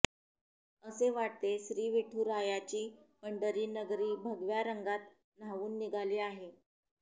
असे वाटते श्री विठुरायाची पंढरी नगरी भगव्या रंगात न्हाऊन निघाली आहे